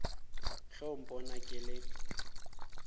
ge o mpona ke le